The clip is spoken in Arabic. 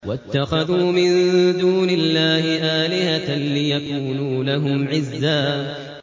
وَاتَّخَذُوا مِن دُونِ اللَّهِ آلِهَةً لِّيَكُونُوا لَهُمْ عِزًّا